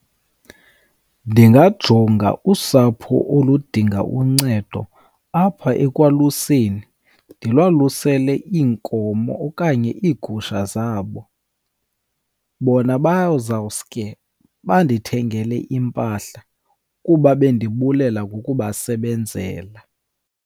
Ndingajonga usapho oludinga uncedo apha ekwaluseni, ndilwalusele iinkomo okanye iigusha zabo. Bona bazawusuke bandithengele iimpahla kuba bendibulela ngokubasebenzela.